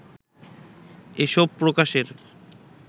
এসব প্রকাশের